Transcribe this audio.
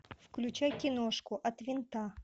включай киношку от винта